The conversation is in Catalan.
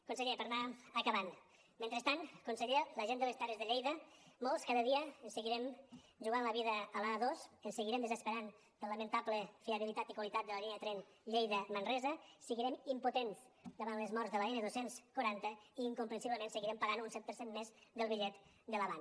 conseller per anar acabant mentrestant conseller la gent de les terres de lleida molts cada dia ens seguirem jugant la vida a l’a dos ens seguirem desesperant per la lamentable fiabilitat i qualitat de la línia de tren lleida manresa seguirem impotents davant les mort de l’n dos cents i quaranta i incomprensiblement seguirem pagant un set per cent més del bitllet de l’avant